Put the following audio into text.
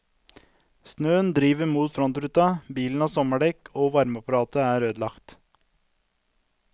Snøen driver mot frontruta, bilen har sommerdekk og varmeapparatet er ødelagt.